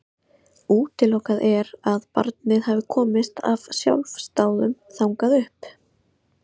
Útilokað er að barnið hafi komist af sjálfsdáðum þangað upp.